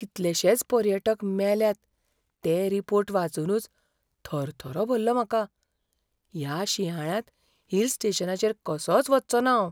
कितलेशेच पर्यटक मेल्यात ते रिपोर्ट वाचूनच थरथरो भल्ला म्हाका, ह्या शिंयाळ्यांत हिल स्टेशनाचेर कसोंच वच्चो ना हांव.